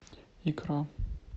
икра